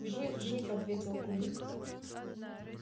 жив жив ответил кулик